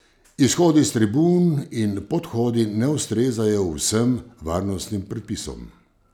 Izhodi s tribun in podhodi ne ustrezajo vsem varnostnim predpisom.